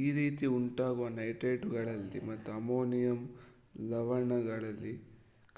ಈ ರೀತಿ ಉಂಟಾಗುವ ನೈಟ್ರೇಟುಗಳಲ್ಲಿ ಮತ್ತು ಅಮೋನಿಯಂ ಲವಣಗಳಲ್ಲಿ